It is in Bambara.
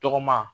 Tɔgɔma